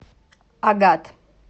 агат